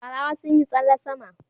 Farawa sun yi tsalle sama